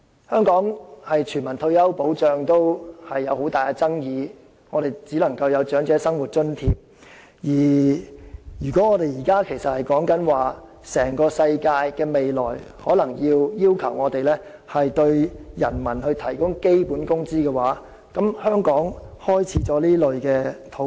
香港連推行全民退休保障也有很大爭議，只能提供長者生活津貼，如果現時的討論是全球各地在未來皆有可能需要為人民提供基本工資，香港是否已開始了這方面的討論？